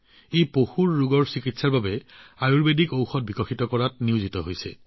তেওঁলোক পশুৰ ৰোগৰ চিকিৎসাৰ বাবে আয়ুৰ্বেদিক ঔষধ প্ৰস্তুত কৰাত নিয়োজিত